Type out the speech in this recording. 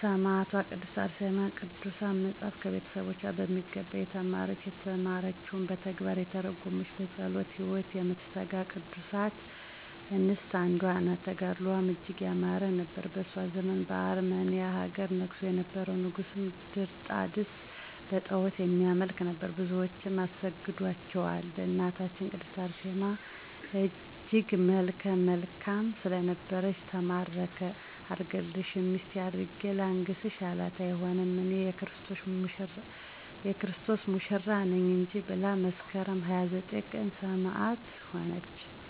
ሰማዕቷ ቅድስት አርሴማ ቅዱሳት መፃፍትን ከቤተሰቦቿ በሚገባ የተማረች፤ የተማረችዉንም በተግባር የተረጎመች፤ በፀሎት ህይወት የምትተጋ ከቅዱሳት አንስት አንዷ ናት። ተጋድሎዋም እጅግ ያማረ ነበር። በእሷ ዘመን በአርመንያ ሀገር ነግሶ የነበረዉ ንጉስም ድርጣድስ በጣዖትም የሚያመልክ ነበር። ብዙዎችንም አስገደላቸዉ በእናታችን ቅድስት አርሴማም እጅግ መልከ መልካም ስለነበረች ተማረከ አልገድልሽም ሚስቴ አድርጌ ላንግስሽ አላት አይሆንም እኔ<የክርስቶስ ሙሽራ ነኝ >እንጂ ብላ መስከረም 29 ቀን ሰማዕት ሆነች።